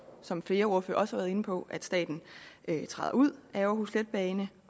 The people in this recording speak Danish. som flere ordførere også været inde på at staten træder ud af aarhus letbane